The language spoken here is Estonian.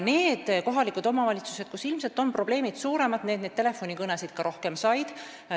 Need omavalitsused, kus ilmselt on probleemid suuremad, said ka rohkem telefonikõnesid.